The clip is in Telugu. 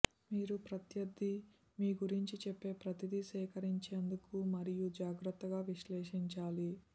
మీరు ప్రత్యర్థి మీ గురించి చెప్పే ప్రతిదీ సేకరించేందుకు మరియు జాగ్రత్తగా విశ్లేషించాలి